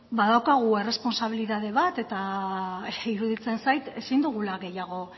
badaukagu errespontsabilitate bat iruditzen zait ezin dugula